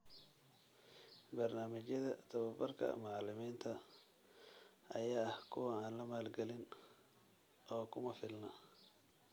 Barnaamijyada tababarka macallimiinta ayaa ah kuwo aan la maalgalin oo kuma filna .